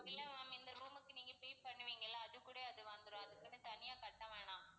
இல்ல ma'am இந்த room க்கு நீங்க pay பண்ணுவீங்கல்ல அதுக்கூட அது வந்துரும். அதுக்குன்னு தனியா கட்ட வேண்டாம்.